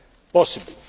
still possible.